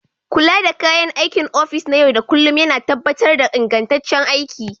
Kula da kayan aikin ofis na yau da kullun yana tabbatar da ingantaccen aiki.